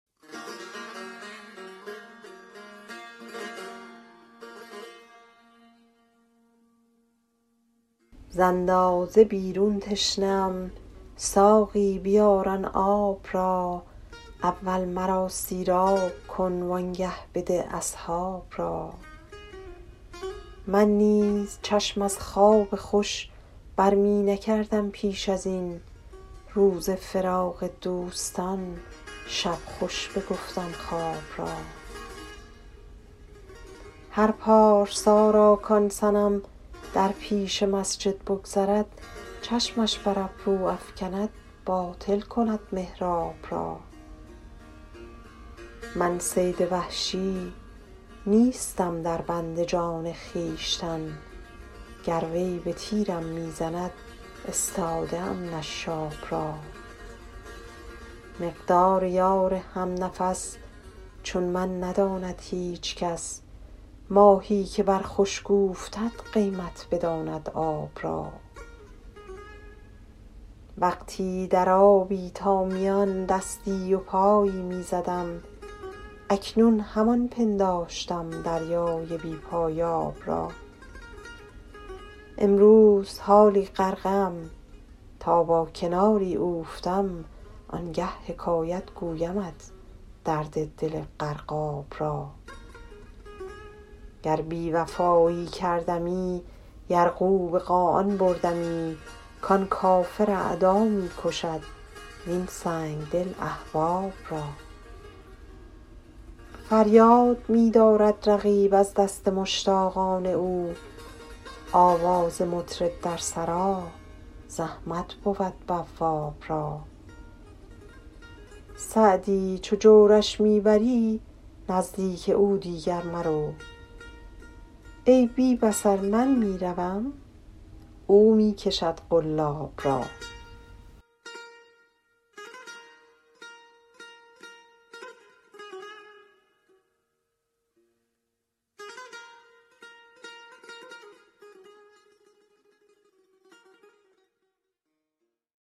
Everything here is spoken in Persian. ز اندازه بیرون تشنه ام ساقی بیار آن آب را اول مرا سیراب کن وآنگه بده اصحاب را من نیز چشم از خواب خوش بر می نکردم پیش از این روز فراق دوستان شب خوش بگفتم خواب را هر پارسا را کآن صنم در پیش مسجد بگذرد چشمش بر ابرو افکند باطل کند محراب را من صید وحشی نیستم در بند جان خویشتن گر وی به تیرم می زند استاده ام نشاب را مقدار یار هم نفس چون من نداند هیچ کس ماهی که بر خشک اوفتد قیمت بداند آب را وقتی در آبی تا میان دستی و پایی می زدم اکنون همان پنداشتم دریای بی پایاب را امروز حالا غرقه ام تا با کناری اوفتم آنگه حکایت گویمت درد دل غرقاب را گر بی وفایی کردمی یرغو به قاآن بردمی کآن کافر اعدا می کشد وین سنگدل احباب را فریاد می دارد رقیب از دست مشتاقان او آواز مطرب در سرا زحمت بود بواب را سعدی چو جورش می بری نزدیک او دیگر مرو ای بی بصر من می روم او می کشد قلاب را